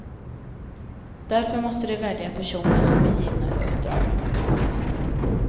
Därför måste de välja personer som är givna för uppdragen.